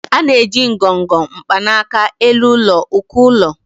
A na-eji ngọngọ, mkpanaka, elu ụlọ, uko ụlọ, wdg.